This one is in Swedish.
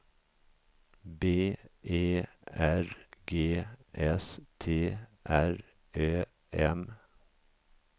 B E R G S T R Ö M